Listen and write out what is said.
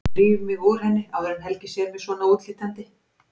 Dríf mig úr henni áður en Helgi sér mig svona útlítandi.